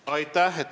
Aitäh!